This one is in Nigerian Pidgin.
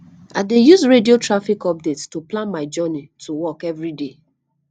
i dey use radio traffic updates to plan my journey to work every day